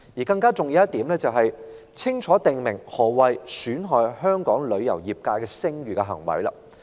更加重要的一點是，我們必須清楚訂明何謂"損害香港旅遊業界的聲譽"的行為。